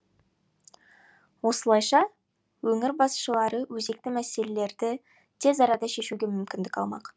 осылайша өңір басшылары өзекті мәселелерді тез арада шешуге мүмкіндік алмақ